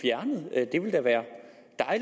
det ville da være